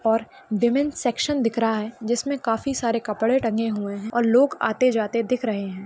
'' और women's section दिख रहा है जिसमे काफी सारे कपड़े टंगे हुए है और लोग आते जाते दिख राहे है। ''